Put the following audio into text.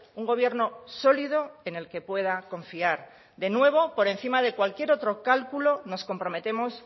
un gobierno sólido en el que pueda confiar de nuevo por encima de cualquier otro cálculo nos comprometemos